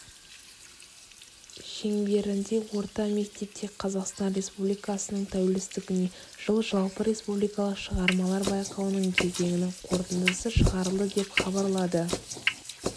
шеңберінде орта мектепте қазақстан республикасының тәуелсіздігіне жыл жалпыреспубликалық шығармалар байқауының кезеңінің қорытындысы шығарылды деп хабарлады